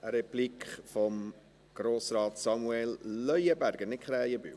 Eine Replik von Grossrat Samuel Leuenberger, nicht Krähenbühl.